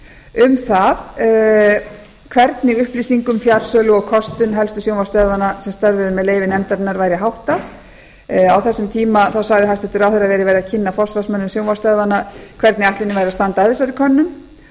um það hvernig upplýsingum fjarsölu og kostun helstu sjónvarpsstöðvanna sem störfuðu með leyfi nefndarinnar væri háttað á þessum tíma sagði hæstvirtur ráðherra að verið væri að kynna forsvarsmönnum sjónvarpsstöðvanna hvernig ætlunin væri að standa að þessari könnun